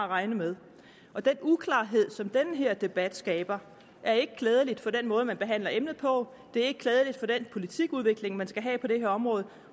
regne med og den uklarhed som den her debat skaber er ikke klædelig for den måde man behandler emnet på er ikke klædelig for den politikudvikling man skal have på det her område